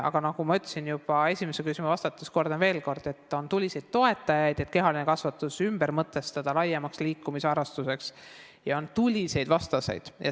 Aga nagu ma ütlesin juba esimesele küsimusele vastates ja kordan veel kord, et on tuliseid toetajaid, et kehaline kasvatus ümber mõtestada laiemaks liikumisharrastuseks, ja sellel on tuliseid vastaseid.